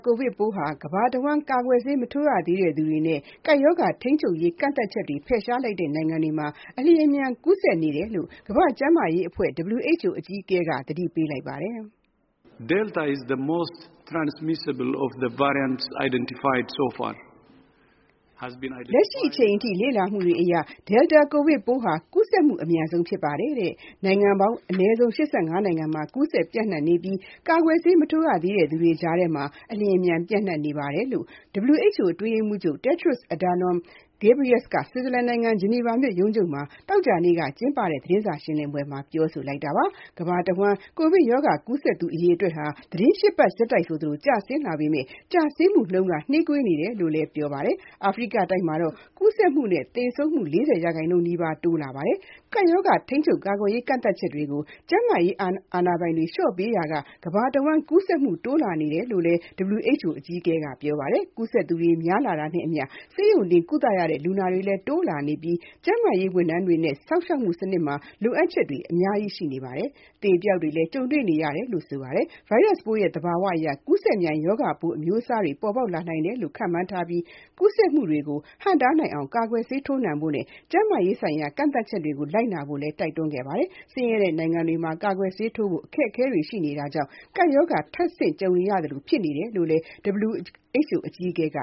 ကိုဗစ်ပိုးဟာ ကမ္ဘာအဝန်း ကာကွယ်ဆေး မထိုးရသေးတဲ့သူတွေနဲ့ ကပ်ရောဂါ ထိန်းချုပ်ရေး ကန့်သတ်ချက်တွေ ဖယ်ရှားလိုက်တဲ့ နိုင်ငံတွေမှာ အလျှင်အမြန် ကူးစက်နေကြောင်း ကမ္ဘာ့ကျန်းမာရေးအဖွဲ့ (WHO) အကြီးအကဲက သတိပေးလိုက်ပါတယ်။ “လက်ရှိအချိန်အထိ လေ့လာမှုတွေအရ Delta ကိုဗစ်ပိုးဟာ ကူးစက်မှု အမြန်ဆုံးဖြစ်ပါတယ်။ နိုင်ငံပေါင်း အနည်းဆုံး ၈၅ နိုင်ငံမှာ ကူးစက်ပျံ့နှံ့နေပြီး၊ ကာကွယ်ဆေး မထိုးရသေးတဲ့ သူတွေကြားထဲမှာ အလျှင်အမြန် ပျံ့နှံ့နေပါတယ်။” လို့ WHO အတွင်းရေးမှူးချုပ် Tedros Adhanom Ghebreyesus က ဆွစ်ဇာလန်နိုင်ငံ ဂျနီဗာမြို့ ရုံးချုပ်က သောကြာနေ့ သတင်းစာရှင်းလင်းပွဲမှာ ပြောလိုက်တာပါ။ ကမ္ဘာအဝန်း ကိုဗစ်ရောဂါ ကူးစက်သူ အရေအတွက်ဟာ သီတင်း ၈ ပတ် ဆက်တိုက် ကျဆင်းလာပေမဲ့ ကျဆင်းမှုနှုန်းက နှေးကွေးနေတယ်လို့လည်း ပြောပါတယ်။ အာဖရိကတိုက်မှာတော့ ကူးစက်မှုနဲ့ သေဆုံးမှု ၄၀ ရာခိုင်နှုန်းနီးပါး တိုးလာနေတာပါ။ ကပ်ရောဂါ ထိန်းချုပ်ရေး ကန့်သတ်ချက်တွေကို ကျန်းမာရေး အာဏာပိုင်တွေ လျှော့ပေးရာက ကမ္ဘာအဝန်း ကူးစက်မှု တိုးလာနေတယ်လို့လည်း WHO အကြီးအကဲက ပြောပါတယ်။ ကူးစက်သူ များလာတာနဲ့အမျှ ဆေးရုံတင်ကုသရတဲ့ လူနာတွေလည်း တိုးလာနေပြီး၊ ကျန်းမာရေး ဝန်ထမ်းတွေနဲ့ စောင့်ရှောက်မှု စနစ်မှာ လိုအပ်ချက်တွေ ကြီးမားလာနေပြီး အသေအပျောက်တွေ ကြုံနေရတယ်လို့လည်း ပြောပါတယ်။ ဗိုင်းရပ်စ်ပိုးရဲ့ သဘာဝအရ ကူးစက်မြန် ရောဂါပိုး အမျိုးအစားသစ်တွေ ပေါ်ပေါက်လာနိုင်တယ်လို့ ခန့်မှန်းထားပြီး၊ ကူးစက်မှုတွေကို ဟန့်တားနိုင်အောင် ကာကွယ်ဆေး ထိုးနှံဖို့နဲ့ ကျန်းမာရေးဆိုင်ရာ ကန့်သတ်ချက်တွေကို လိုက်နာဖို့လည်း တိုက်တွန်းခဲ့တာပါ။ ဆင်းရဲတဲ့ နိုင်ငံတွေမှာ ကာကွယ်ဆေးထိုးဖို့ အခက်အခဲတွေ ရှိနေတာဟာလည်း ကပ်ရောဂါ ထပ်ဆင့်ကြုံရသလို ဖြစ်နေတယ်လို့လည်း WHO အကြီးအကဲက